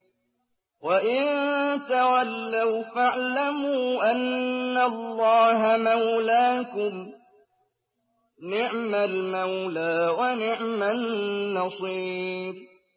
وَإِن تَوَلَّوْا فَاعْلَمُوا أَنَّ اللَّهَ مَوْلَاكُمْ ۚ نِعْمَ الْمَوْلَىٰ وَنِعْمَ النَّصِيرُ